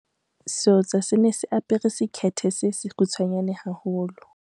seotswa se ne se apere sekhethe se sekgutshwanyane haholo